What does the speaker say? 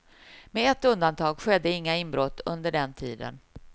Med ett undantag skedde inga inbrott under den tiden.